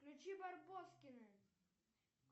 включи барбоскины